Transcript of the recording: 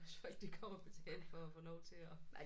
Hvis folk de kommer og betaler for at få lov til at